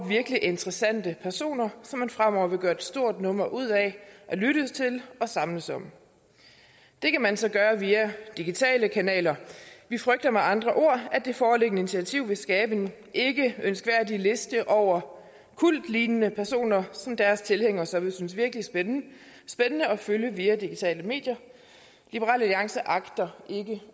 virkelig interessante personer som man fremover vil gøre et stort nummer ud af at lytte til og samles om det kan man så gøre via digitale kanaler vi frygter med andre ord at det foreliggende initiativ vil skabe en ikke ønskværdig liste over kultlignende personer som deres tilhængere så vil synes er virkelig spændende at følge via digitale medier liberal alliance agter ikke